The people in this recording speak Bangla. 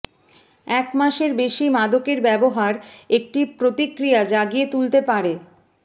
এক মাসের বেশী মাদকের ব্যবহার একটি প্রতিক্রিয়া জাগিয়ে তুলতে পারে